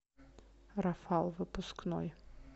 рафал выпускной